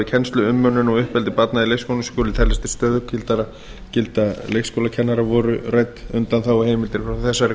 kennslu umönnun og uppeldi barna í leikskólum skuli teljast til stöðugilda leikskólakennara voru rædd undanþáguheimildir frá þessari